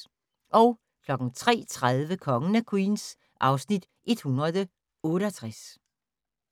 03:30: Kongen af Queens (Afs. 168)